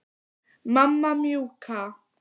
Mamma mjúka.